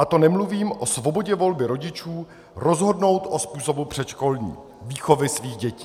A to nemluvím o svobodě volby rodičů rozhodnout o způsobu předškolní výchovy svých dětí.